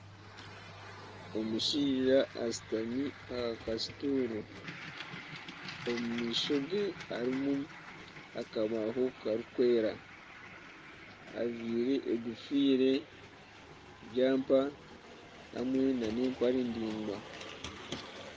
Omushaija ashutami aha kasutuuru omumaisho ge harimu akabaaho kirikwera ajwaire enkofiira jampa hamwe nana empare ndaingwa.